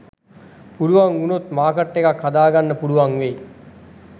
පුළුවන් වුනොත් මාර්කට් එකක් හදාගන්න පුළුවන් වෙයි